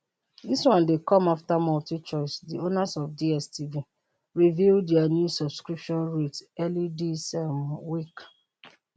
dis one dey come afta multichoice di owners of dstv reveal dia new subscription rates early dis um week